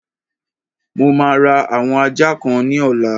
Mo máa ra àwọn ajá kan ní ọ̀la.